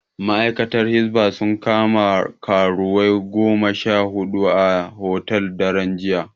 Ma'aikatan Hisba sun kama karuwai goma sha huɗu a hotel, daren jiya.